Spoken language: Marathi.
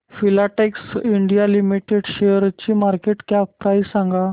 फिलाटेक्स इंडिया लिमिटेड शेअरची मार्केट कॅप प्राइस सांगा